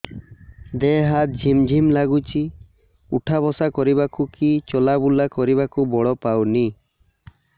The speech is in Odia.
ଦେହେ ହାତ ଝିମ୍ ଝିମ୍ ଲାଗୁଚି ଉଠା ବସା କରିବାକୁ କି ଚଲା ବୁଲା କରିବାକୁ ବଳ ପାଉନି